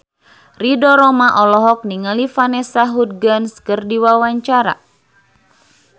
Ridho Roma olohok ningali Vanessa Hudgens keur diwawancara